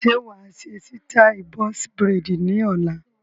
Ṣé wàá ṣe sítai "Box braids" ni ọ̀la?